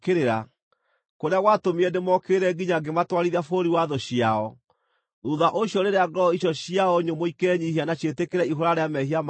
kũrĩa gwatũmire ndĩmookĩrĩre nginya ngĩmatwarithia bũrũri wa thũ ciao, thuutha ũcio rĩrĩa ngoro icio ciao nyũmũ ikenyiihia na ciĩtĩkĩre ihũũra rĩa mehia mao-rĩ,